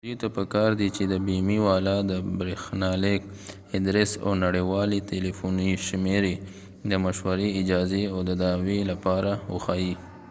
دوي ته په کار دي چې د بیمی والا د برښنالیک ادرس او نړیوالی تلیفونی شمیری د مشوری/اجازی او د دعوي لپاره وښایې